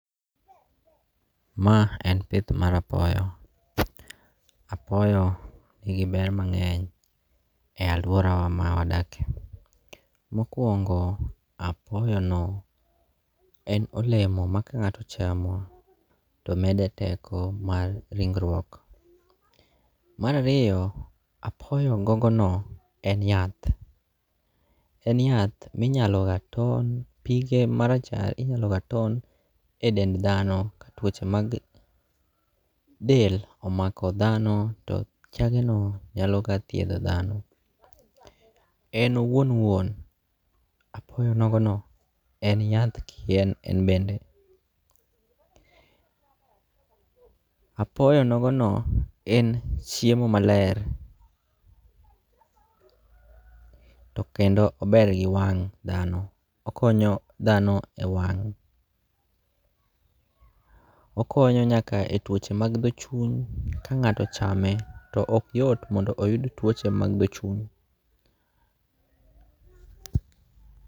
Ma en pith mara poyo, apoyo nigi ber mangeny e aluorawa ma wadakie, mokuongo' apoyono en olemo ma ka nga'to chamo to mede teko mar ring'ruok. Marariyo apoyo gogono en yath, en yath minyaloga ton pige marachar inyaloga ton en dend thano tuoche mag del omako thano to chageno nyaloga thiethoga thano, en wuon wuon apoyonogono en yath kien en bende, apoyo nogono en chiemo maler to kendo ober gi wang' thano, okonyo thano e wang', okonyo nyaka e twoche mag tho chuny ma ka ngato ochamo to okyot mondo oyud twoche mag tho chuny.